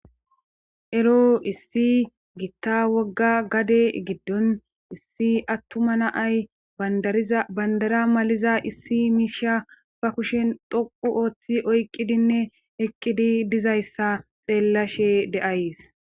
Ero issi gitta wogga gade giddon issi attuma naay bandara maliza issi miisha ba kushen doqu ooththi oyqqidinne eqqidi dizayssa xeellashe de7ays.